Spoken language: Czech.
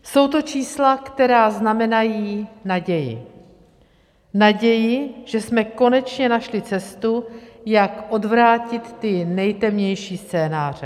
Jsou to čísla, která znamenají naději - naději, že jsme konečně našli cestu, jak odvrátit ty nejtemnější scénáře.